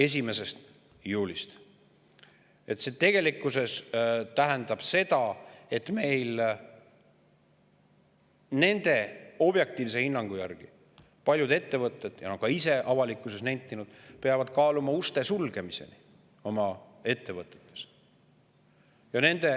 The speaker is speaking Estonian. Nende objektiivse hinnangu järgi tähendab see tegelikkuses seda, et paljud ettevõtted – nad on seda ka ise avalikkuses nentinud – peavad kaaluma oma ettevõtte uste sulgemist.